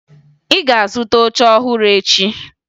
Ị ga-azụta oche ọhụrụ echi!